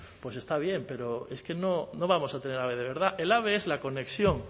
está bien pero es que no vamos a tener ave de verdad el ave es la conexión